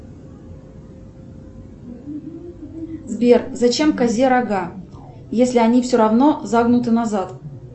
сбер зачем козе рога если они все равно загнуты назад